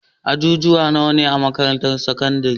ajujuwa nawa ne a makarantar sakandari?